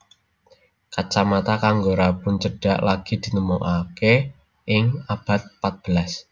Kacamata kanggo rabun cedhak lagi ditemokake ing abad pat belas